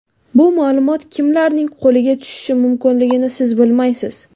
Bu ma’lumot kimlarning qo‘liga tushishi mumkinligini siz bilmaysiz.